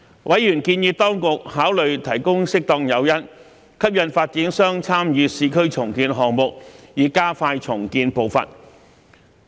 委員建議當局考慮提供適當誘因，吸引發展商參與市區重建項目，以加快重建步伐。